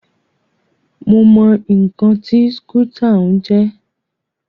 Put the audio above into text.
Mo mọ ǹkan tí skútà ń jẹ́.